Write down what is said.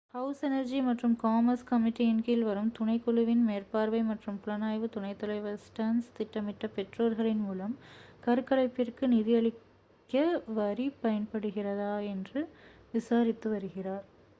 house energy மற்றும் commerce கமிட்டியின் கீழ் வரும் துணைக் குழுவின் மேற்பார்வை மற்றும் புலனாய்வுத் துணைத் தலைவர் ஸ்டர்ன்ஸ் திட்டமிட்ட பெற்றோர்களின் மூலம் கருக்கலைப்பிற்கு நிதியளிக்க வரி பயன்படுகிறதா என்று விசாரித்து வருகிறார்